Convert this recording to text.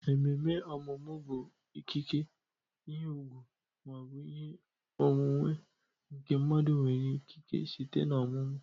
Ememe ọmụmụ bụ ikike, ihe ùgwù, ma ọ bụ ihe onwunwe nke mmadụ nwere ikike site na ọmụmụ